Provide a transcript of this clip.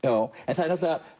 það er